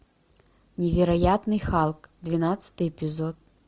невероятный халк двенадцатый эпизод